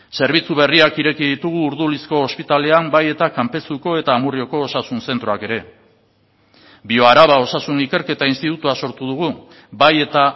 zerbitzu berriak ireki ditugu urdulizko ospitalean bai eta kanpezuko eta amurrioko osasun zentroak ere bioaraba osasun ikerketa institutua sortu dugu bai eta